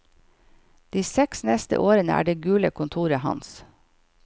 De seks neste årene er det gule kontoret hans.